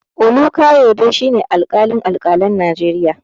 Olukayode shi ne alƙalin alƙalan Najeriya.